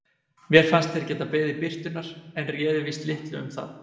Mér fannst þeir geta beðið birtunnar en réði víst litlu um það.